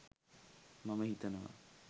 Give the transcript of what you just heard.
මම හිතනවා.